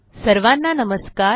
सर्वांना नमस्कार